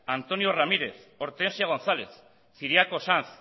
antonio ramírez hortensio gonzález ciriaco sanz